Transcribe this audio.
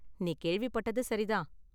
நீ கேள்விப்பட்டது சரி தான்.